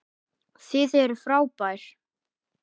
Þið eruð frábær.